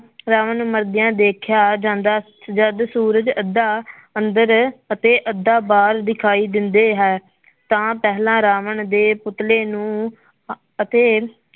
ਰਾਵਣ ਨੂੰ ਮਰਦਿਆਂ ਦੇਖਿਆ ਜਾਂਦਾ ਜਦ ਸੂਰਜ ਅੱਧਾ ਅੰਦਰ ਅਤੇ ਅੱਧਾ ਬਾਹਰ ਦਿਖਾਈ ਦਿੰਦੇ ਹੈ ਤਾਂ ਪਹਿਲਾਂ ਰਾਵਣ ਦੇ ਪੁਤਲੇ ਨੂੰ ਅ~ ਅਤੇ